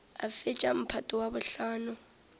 a fetša mphato wa bohlano